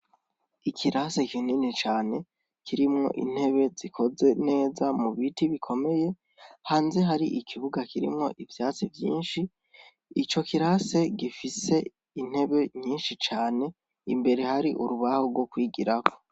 Ikirase kinini cane kirimo intebe zikoze neza mu biti bikomeye. Hanze hari ikibuga kirimwo ivyatsi vyinshi. Ico kirase gifise intebe nyinshi cane. Imbere hari urubaho rwo kwigirako.